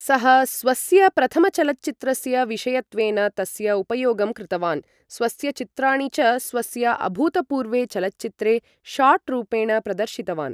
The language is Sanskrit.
सः स्वस्य प्रथमचलच्चित्रस्य विषयत्वेन तस्य उपयोगं कृतवान्, स्वस्य चित्राणि च स्वस्य अभूतपूर्वे चलच्चित्रे शाट् रूपेण प्रदर्शितवान्।